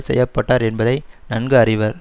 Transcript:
செய்ய பட்டார் என்பதை நன்கு அறிவர்